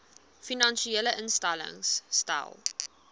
finansiële instellings stel